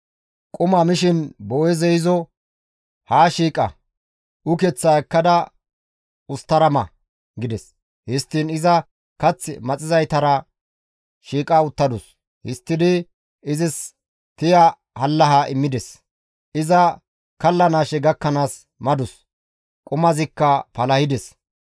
Quma mishin Boo7eezey izo, «Haa shiiqa; ukeththaa ekkada usttara ma» gides; histtiin iza kath maxizaytara shiiqa uttadus; histtidi izis tiya hallahas immides; iza kallanaashe gakkanaas madus; qumazikka palahides.